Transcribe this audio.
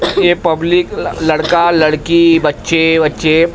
ये पब्लिक ल लड़का लड़की बच्चे वच्चे--